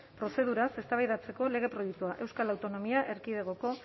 prozeduraz eztabaidatzeko lege proiektua euskal autonomia erkidegoko